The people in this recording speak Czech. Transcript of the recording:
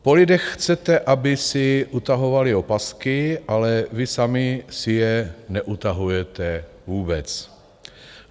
Po lidech chcete, aby si utahovali opasky, ale vy sami si je neutahujete vůbec!